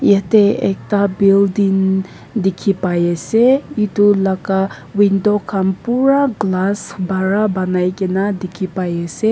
yate ekta building dikhipai ase edu laka window khan pura glass para banai kae na dikhipaiase.